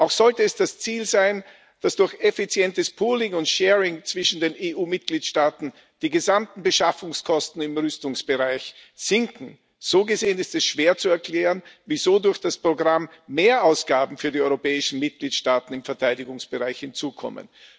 Auch sollte es das Ziel sein, dass durch effizientes pooling and sharing zwischen den EU Mitgliedstaaten die gesamten Beschaffungskosten im Rüstungsbereich sinken. So gesehen ist es schwer zu erklären, wieso durch das Programm Mehrausgaben für die europäischen Mitgliedstaaten im Verteidigungsbereich hinzukommen.